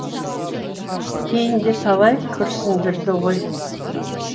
кейін де талай күрсіндірді ғой